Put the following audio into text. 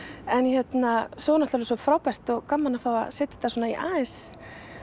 en hérna svo var náttúrulega svo frábært og gaman að fá að setja þetta aðeins